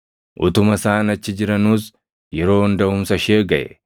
Utuma isaan achi jiranuus yeroon daʼumsa ishee gaʼe.